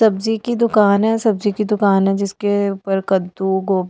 सब्जी की दुकान है सब्जी की दुकान है जिसके ऊपर कद्दू गो--